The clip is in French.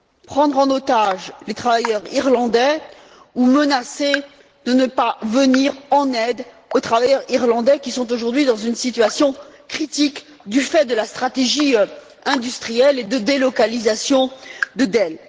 prendre en otage les travailleurs irlandais ou menacer de ne pas venir en aide aux travailleurs irlandais qui sont aujourd'hui dans une situation critique du fait de la stratégie industrielle et de la délocalisation de Dell.